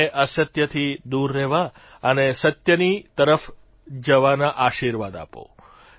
મને અસત્યથી દૂર રહેવા અને સત્યની તરફ જવાના આશીર્વાદ આપો